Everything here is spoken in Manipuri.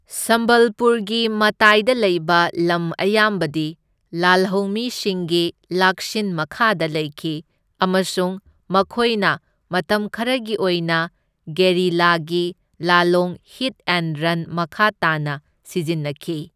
ꯁꯝꯕꯜꯄꯨꯔꯒꯤ ꯃꯇꯥꯏꯗ ꯂꯩꯕ ꯂꯝ ꯑꯌꯥꯝꯕꯗꯤ ꯂꯥꯜꯍꯧꯃꯤꯁꯤꯡꯒꯤ ꯂꯥꯛꯁꯤꯟ ꯃꯈꯥꯗ ꯂꯩꯈꯤ, ꯑꯃꯁꯨꯡ ꯃꯈꯣꯏꯅ ꯃꯇꯝ ꯈꯔꯒꯤ ꯑꯣꯏꯅ ꯒꯦꯔꯤꯂꯥꯒꯤ ꯂꯥꯜꯂꯣꯡ ꯍꯤꯠ ꯑꯦꯟꯗ ꯔꯟ ꯃꯈꯥ ꯇꯥꯅ ꯁꯤꯖꯤꯟꯅꯈꯤ꯫